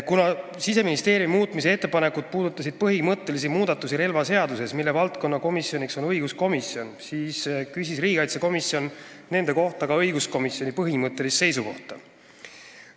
Kuna Siseministeeriumi ettepanekud puudutasid põhimõttelisi muudatusi relvaseaduses, mille puhul on valdkonnakomisjoniks õiguskomisjon, küsis riigikaitsekomisjon nende kohta ka õiguskomisjoni põhimõttelist seisukohta.